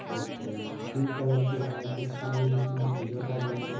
तो कोई pink colour के हैं कुछ लोग इसमें पूजा कर रहे हैं |